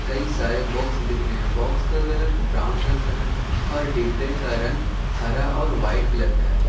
कई सारे बॉक्स भी दिख रहे हैं बॉक्स का कलर ब्राउन रंग का है और डिब्बे का रंग हरा और वाइट कलर का है।